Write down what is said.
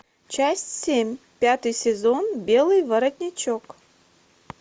часть семь пятый сезон белый воротничок